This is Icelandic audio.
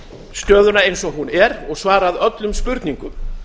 stöðuna eins og hún er og svarað öllum spurningum